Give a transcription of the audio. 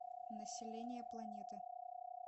население планеты